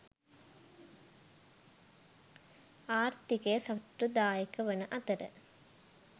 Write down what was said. ආර්ථිකය සතුටුදායක වන අතර